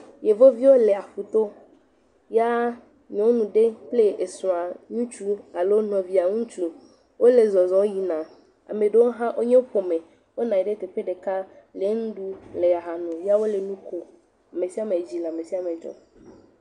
Yevio le aƒu to ya nyɔnu ɖe kple esrɔ̃a ŋutsu, alo nɔvia ŋutsu wole zɔzɔm yina. Ame ɖewo hã wonye ƒome, wonɔ anyi ɖe teƒe ɖeka, le nu ɖum, le aha num yaw ole nu kom. Ame sia me dzi le ame sia me dzɔm.